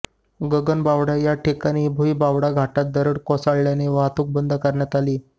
गगणबावडा या ठिकाणी भुईबावडा घाटात दरड कोसळल्यानं वाहतूक बंद करण्यात आली